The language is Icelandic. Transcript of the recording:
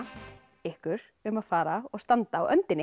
ykkur um að fara og standa á öndinni